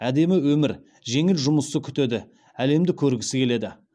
әдемі өмір жеңіл жұмысты күтеді әлемді көргісі келеді